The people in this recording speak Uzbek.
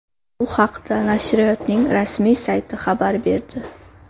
Bu haqda nashriyotning rasmiy sayti xabar berdi .